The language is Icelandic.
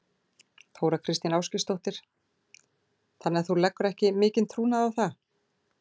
Þóra Kristín Ásgeirsdóttir: Þannig að þú leggur ekki mikinn trúnað á það?